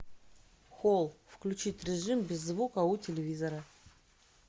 холл включить режим без звука у телевизора